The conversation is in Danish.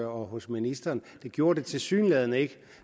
og hos ministeren det gjorde det tilsyneladende ikke